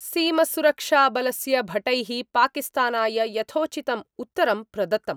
सीमसुरक्षाबलस्य भटैः पाकिस्तानाय यथोचितं उत्तरं प्रदत्तम्।